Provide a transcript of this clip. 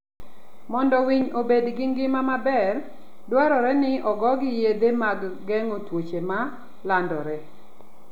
Mondo winy obed gi ngima maber, dwarore ni ogogi yedhe mag geng'o tuoche ma landore.